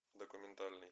документальный